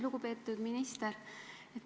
Lugupeetud minister!